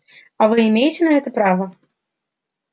а вы имеете на это право